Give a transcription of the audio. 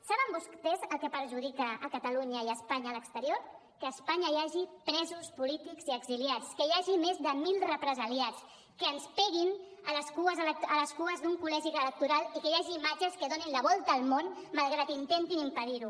saben vostès el que perjudica catalunya i espanya a l’exterior que a espanya hi hagi presos polítics i exiliats que hi hagin més de mil represaliats que ens peguin a les cues d’un col·legi electoral i que hi hagi imatges que donin la volta al món malgrat que intentin impedir ho